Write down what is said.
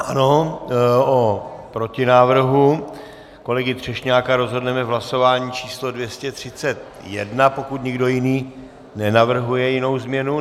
Ano, o protinávrhu kolegy Třešňáka rozhodneme v hlasování číslo 231, pokud někdo jiný nenavrhuje jinou změnu.